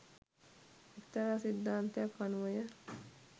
එක්තරා සිද්ධාන්තයක් අනුවය.